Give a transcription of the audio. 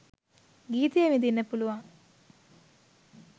ගීතය විඳින්න පුළුවන්